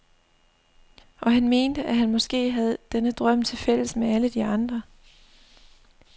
Og han mente, at han måske havde denne drøm til fælles med alle de andre.